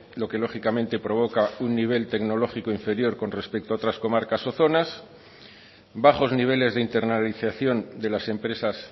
lo que lógicamente provoca un nivel tecnológico inferior con respecto a otras comarcas o zonas bajos niveles de internalización de las empresas